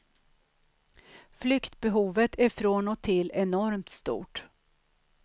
Flyktbehovet är från och till enormt stort.